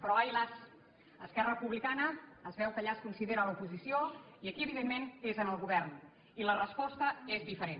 però ai las esquerra republicana es veu que allà es considera l’oposició i aquí evidentment és en el govern i la resposta és diferent